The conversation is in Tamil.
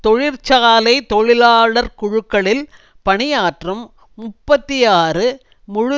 தொழிற்சாலை தொழிலாளர்குழுக்களில் பணியாற்றும் முப்பத்தி ஆறு முழு